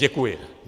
Děkuji.